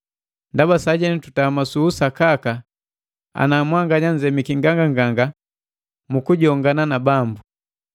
ndaba sajenu tutama su usakaka ana mwanganya nzemiki nganganganga mu kujongana na Bambu.